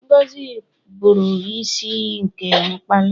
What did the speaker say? Ngọzi pụrụ ịbụ isi iyi nke mkpali.